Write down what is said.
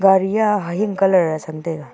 gari a hahing colour chang taiga.